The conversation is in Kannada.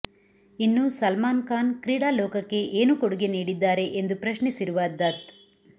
ಇನ್ನು ಸಲ್ಮಾನ್ ಖಾನ್ ಕ್ರೀಡಾ ಲೋಕಕ್ಕೆ ಏನು ಕೊಡುಗೆ ನೀಡಿದ್ದಾರೆ ಎಂದು ಪ್ರಶ್ನಿಸಿರುವ ದತ್